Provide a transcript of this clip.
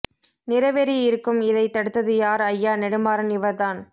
நிறவெறி இருக்கும் இதை தடுத்தது யார் ஐயா நெடுமாறன் இவர் தான்